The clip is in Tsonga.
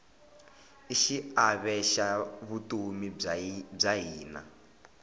i xiave xa vutomi bya hina